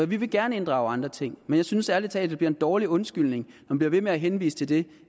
vi vil gerne inddrage andre ting men jeg synes ærlig talt det er en dårlig undskyldning man bliver ved med at henvise til det